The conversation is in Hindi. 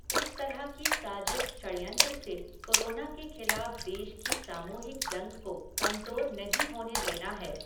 इस तरह की साजिश षड्यंत्र से कोरोना के खिलाफ़ देश की सामूहिक जंग को कमज़ोर नहीं होने देना है।